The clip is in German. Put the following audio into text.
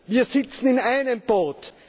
Wir sitzen in einem Boot.